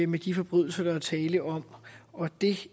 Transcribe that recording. med de forbrydelser der er tale om og det